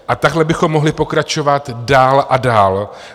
A tak bychom mohli pokračovat dál a dál.